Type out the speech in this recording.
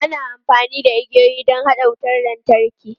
Ana amfani da igiyoyi don haɗa wutar lantarki.